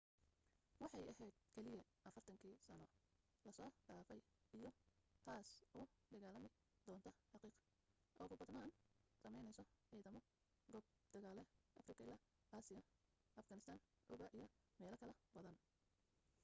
waxay aheyd keliya 40 kii sano lasoo dhafay iyo taas u dagaalami doonto xaqiiq ugu badnaan sameyneyso cidamo goob dagaalee africa ilaa asia afghanistan cuba iyo meelo kala badan